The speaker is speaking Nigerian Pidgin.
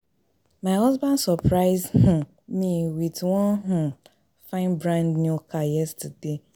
My husband surprise um me with wan um fine brand new car yesterday